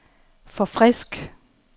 forfrisk